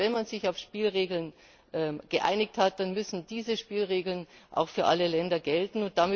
Das heißt, wenn man sich auf Spielregeln geeinigt hat, dann müssen diese Spielregeln auch für alle Länder gelten.